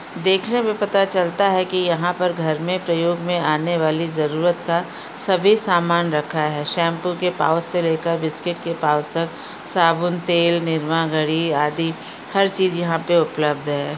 देखने में पता चलता है कि यहॉँ पर घर में प्रयोग में आने वाली जरूरत का सभी सामान रखा है। शैम्पू के पाउच से लेकर बिस्कुट के पाउच तक साबुन तेल निरमा घड़ी आदि हर चीज़ यहाँ पर उपलब्ध है।